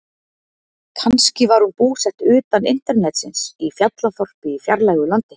Kannski var hún búsett utan internetsins, í fjallaþorpi í fjarlægu landi.